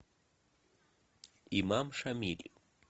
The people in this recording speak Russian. имам шамиль